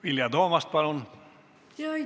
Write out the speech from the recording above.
Vilja Toomast, palun!